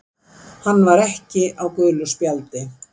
Hann var ekki á gulu spjaldi.